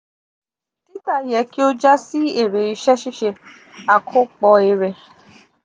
tita yẹ ki o ja si èrè iṣẹ-ṣiṣe (akopo èrè).